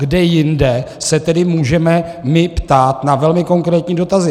Kde jinde se tedy můžeme my ptát na velmi konkrétní dotazy?